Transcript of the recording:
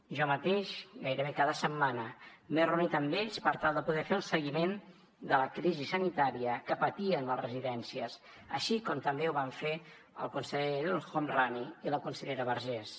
jo mateix gairebé cada setmana m’he reunit amb ells per tal de poder fer el seguiment de la crisi sanitària que patien les residències així com també ho van fer el conseller el homrani i la consellera vergés